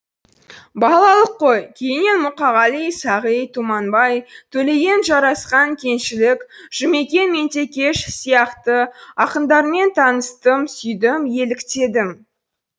балалық қой кейіннен мұқағали сағи тұманбай төлеген жарасқан кеңшілік жұмекен меңдекеш сияқты ақындармен таныстым сүйдім еліктедім